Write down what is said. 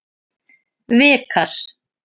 Vikar